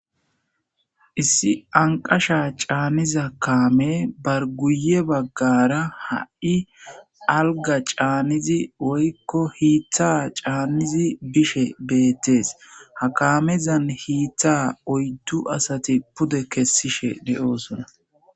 issi anqasha caanniza kaame bar guye baggara ha7i alga caannizi woykko hiittha caannizi bishe beettees ha kaamezan hiittha oyddu asati pude kessishe de7oosona